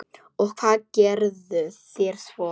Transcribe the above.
Og hvað gerðuð þér svo?